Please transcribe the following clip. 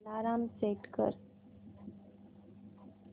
alarm set कर